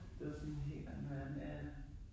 Det var sådan en helt anden verden ja ja